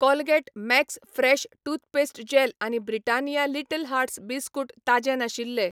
Colgate Max fresh toothpaste gel आनी Britannia Little Hearts biscuit ताजें नाशिल्ले.